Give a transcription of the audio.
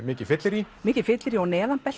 mikið fyllerí mikið fyllerí og